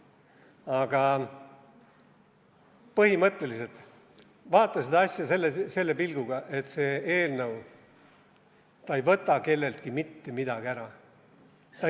Aga põhimõtteliselt vaata seda asja selle pilguga, et see eelnõu ei võta kelleltki mitte midagi ära.